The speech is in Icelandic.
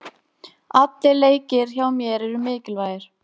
Allir leikir hjá mér eru mikilvægir.